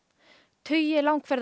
tugi